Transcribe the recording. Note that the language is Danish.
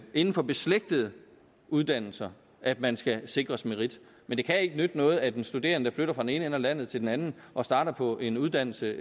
inden for beslægtede uddannelser at man skal sikres merit men det kan ikke nytte noget at en studerende der flytter fra den ene ende af landet til den anden og starter på en uddannelse